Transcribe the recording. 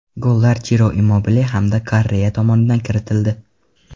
Gollar Chiro Immobile hamda Korrea tomonidan kiritildi.